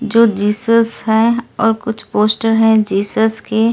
जो जीसस है और कुछ पोस्टर हैं जीसस के--